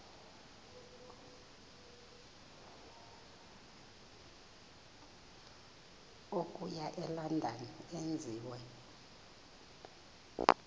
okuya elondon enziwe